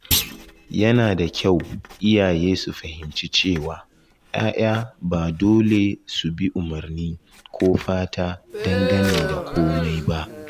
Yana da kyau iyaye su fahimci cewa ‘ya’ya ba dole su bi umarni ko fata dangane da komai ba.